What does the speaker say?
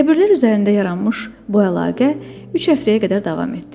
Qəbirlər üzərində yaranmış bu əlaqə üç həftəyə qədər davam etdi.